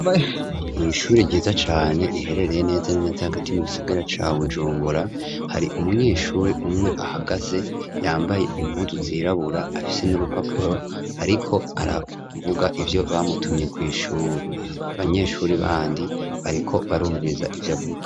Mw'ishuri ryiza cane riherereye neza n'neza agati ma gisagara ca wujumbura hari umunyeshuri umwe ahagaze yambaye impudu zirabura afise n'urupapuro, ariko aravuga ivyo bamutumye kw'ishuri abanyeshuri bandi bariko barumviriza ivyo avuga.